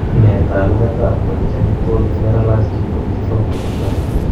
Nee taakunetaab congenital generalized lipodystrophy nebo 1?